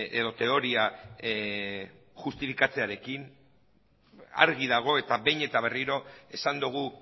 edo teoria justifikatzearekin argi dago eta behin eta berriro esan dugu